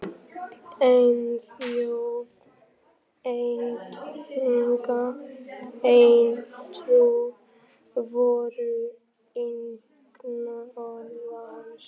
Ein þjóð, ein tunga, ein trú! voru einkunnarorð hans.